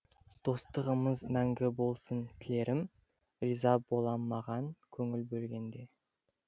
достығымыз мәңгі болсын тілерім риза болам маған көңіл бөлгенде